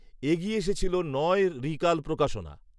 এগিয়ে এসেছিল নয় ঋকাল প্রকাশনা